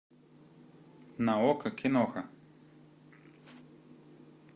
на окко киноха